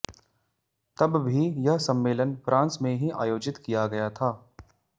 तब भी यह सम्मेलन फ्रांस में ही आयोजित किया गया था